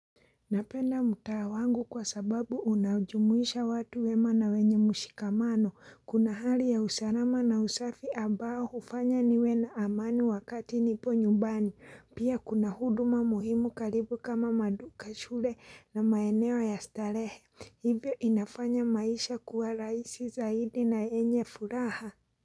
Napenda mtaa wangu kwa sababu unajumuisha watu wema na wenye mshikamano. Kuna hali ya usalama na usafi ambao hufanya niwe na amani wakati nipo nyubani. Pia kuna huduma muhimu karibu kama maduka shule na maeneo ya starehe. Hivyo inafanya maisha kuwa rahisi zaidi na enye furaha.